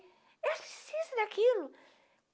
Eu preciso daquilo.